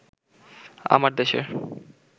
আমার দেশের